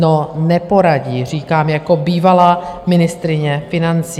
No, neporadí, říkám jako bývalá ministryně financí.